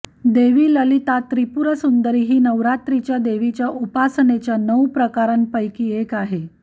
देवी ललिता त्रिपुरसुंदरी ही नवरात्रीच्या देवीच्या उपासनेच्या नऊ प्रकारांपैकी एक आहे